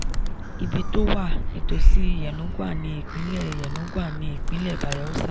ibi tó wà: ìtòsí yenagoa ní ìpínlẹ̀ yenagoa ní ìpínlẹ̀ bayelsa